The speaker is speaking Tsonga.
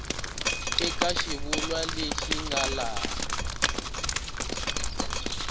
eka xivulwa lexi nga laha